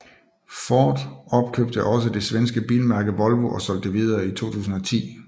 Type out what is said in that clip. Ford opkøbte også det svenske bilmærke Volvo og solgte det videre i 2010